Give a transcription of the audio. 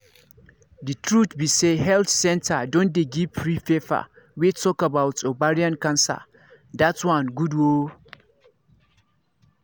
the truth be say health centre don dey give free paper wey talk about ovarian cancer that one good ooo